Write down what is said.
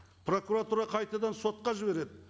прокуратура қайтадан сотқа жібереді